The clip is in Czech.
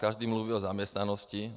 Každý mluví o zaměstnanosti.